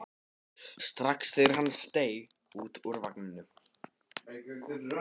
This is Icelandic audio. strax þegar hann steig út úr vagninum.